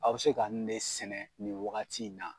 A be se ka nin de sɛnɛ nin wagati in na